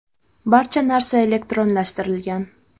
Barcha narsa elektronlashtirilgan.